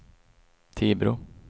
Tibro